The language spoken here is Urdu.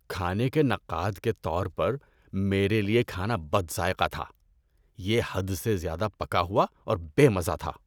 کھانے کے نقاد کے طور پر، میرے لیے کھانا بد ذائقہ تھا۔ یہ حد سے زیادہ پکا ہوا اور بے مزہ تھا۔